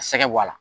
Sɛgɛ b'a la